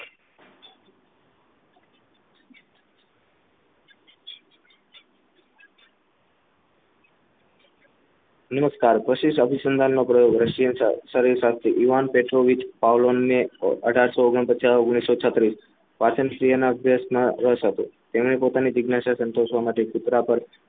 નમસ્કાર કોશિશ આબુસંધાન પ્રયોગો રશિયન શાસ્ત્રી ઇવાન પેટ્રોલ વીજ ભાવલોની અઢારસો ઓગણ પચાસ ઓગણીસો છત્રીસ પાચન ક્રિયાના અધ્યક્ષ ના તેને પોતાની જિજ્ઞાસત સંતોષવા માટે કુતરા પર